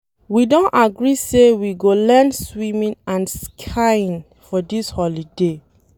We don agree say we go learn swimming and skiing for dis holiday.